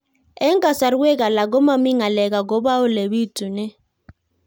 Eng' kasarwek alak ko mami ng'alek akopo ole pitunee